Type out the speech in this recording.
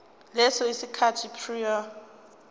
leso sikhathi prior